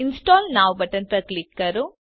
install now button પર click કરો